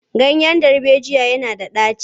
Ganyen darbejiya yana da ɗaci.